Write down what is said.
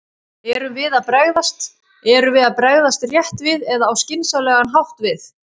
Erum við að bregðast, erum við að bregðast rétt við eða á skynsamlegan hátt við?